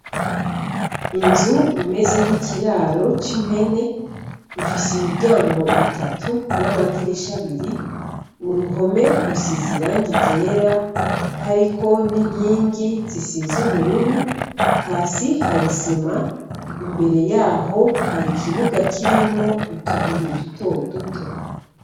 Inzu imeze nkikiraro c'impene ifise imiryango itatu n'amadirisha abiri, uruhome rusize irangi ryera hariko n'inkingi zisize ubururu hasi hari isima imbere yaho Hari ikibuga kirimwo utubuye duto duto.